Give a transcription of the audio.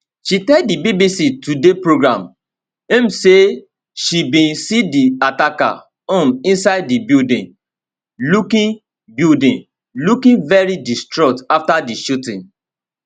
she tell di bbc today programme um say she bin see di attacker um inside di building looking building looking very distraught afta di shooting